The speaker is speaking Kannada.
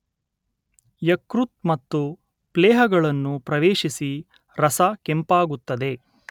ಯಕೃತ್ ಮತ್ತು ಪ್ಲೀಹಗಳನ್ನು ಪ್ರವೇಶಿಸಿ ರಸ ಕೆಂಪಾಗುತ್ತದೆ